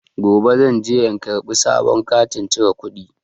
Gobe zan je in karɓi sabon katin cire kuɗi.